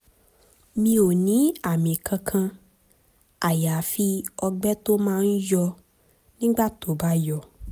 mi ò ní àmì kankan àyàfi ọgbẹ́ tó máa ń yọ nígbà tó bá yọ